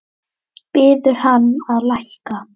Biður hann að lækka.